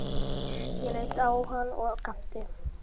Ég leit á hann og gapti.